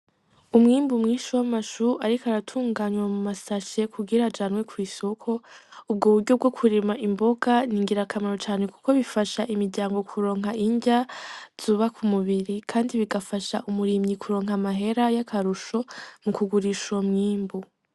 Umwimbu mwinshi w'amashu ariko aratunganywa mu mashashe kugira ajanywe kw'isoko. Ubwo buryo bwo kurima imboga ni ngirakamaro cane kuko bifasha imiryango kuronka indya zubaka umubiri, kandi bigafasha umurimyi kuronka amahera y'akarusho mu kugurisha uwo mwimbu.